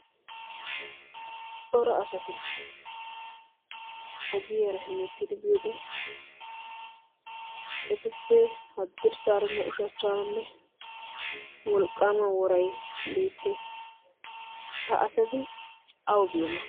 cora asati ogiyaara hemettidi biyode etuppe haddirssaaranne ushachchaaranne wolqqaama worai beettees. ha asati awu biyoona?